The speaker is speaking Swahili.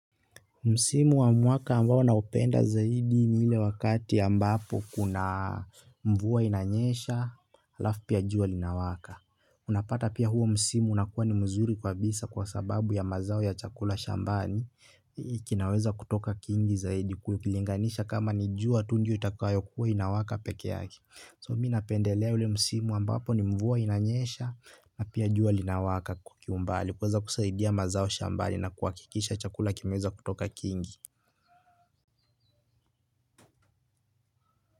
Msimu wa mwaka ambao naupenda zaidi ni ile wakati ambapo kuna mvua inanyesha, halafu pia jua linawaka. Unapata pia huo msimu unakuwa ni mzuri kabisa kwa sababu ya mazao ya chakula shambani kinaweza kutoka kingi zaidi ukilinganisha kama ni jua tu ndio itakayo kuwa inawaka peke yake. So minapendelea ule msimu ambapo ni mvua inanyesha na pia jua linawaka kwa kiumbali kuweza kusaidia mazao shambani na kwa kuhakikisha chakula kimeweza kutoka kingi.